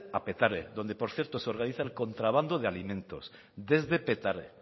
a petare donde por cierto se organiza el contrabando de alimentos desde petare